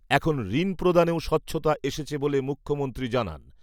এখন ঋণ প্রদানেও স্বচ্ছতা এসেছে বলে মুখ্যমন্ত্রী জানান।